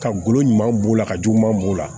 Ka golo ɲuman b'o la ka juguman b'o la